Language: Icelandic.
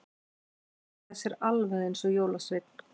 Að hann hagaði sér alveg eins og jólasveinn.